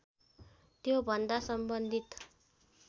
त्योभन्दा सम्बन्धित